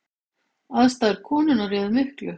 Aðstæður konunnar réðu miklu